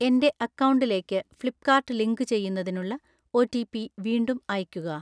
എൻ്റെ അക്കൗണ്ടിലേക്ക് ഫ്ലിപ്പ്കാർട്ട് ലിങ്കുചെയ്യുന്നതിനുള്ള ഒറ്റിപി വീണ്ടും അയയ്ക്കുക.